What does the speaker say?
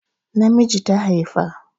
Namiji ta haifa